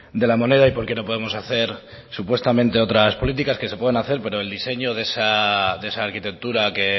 de la moneda y porqué no podemos hacer supuestamente otras políticas que se pueden hacer pero el diseño de esa arquitectura que